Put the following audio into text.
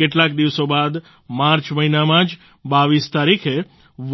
કેટલાક દિવસો બાદ માર્ચ મહિનામાં જ 22 તારીખે